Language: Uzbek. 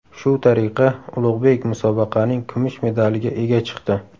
Shu tariqa Ulug‘bek musobaqaning kumush medaliga ega chiqdi.